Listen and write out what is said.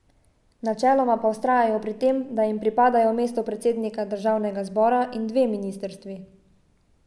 Načeloma pa vztrajajo pri tem, da jim pripadajo mesto predsednika državnega zbora in dve ministrstvi.